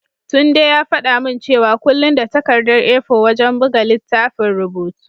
Tunde ya faɗa min cewa kullum da takardar A4 wajen buga littafin rubutu.